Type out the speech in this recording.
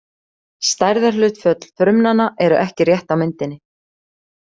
Stærðarhlutföll frumnanna eru ekki rétt á myndinni.